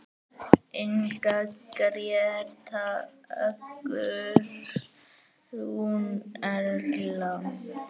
Inga, Gréta, Guðrún, Erla.